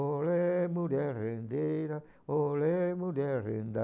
Olê, mulher rendeira, olê, mulher renda,